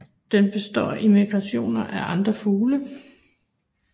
Den består af imitationer af andre fugle